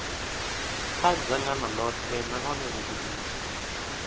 kha dzangano ḽoṱhe nahone vhugudisi